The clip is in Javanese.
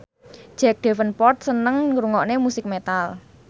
Jack Davenport seneng ngrungokne musik metal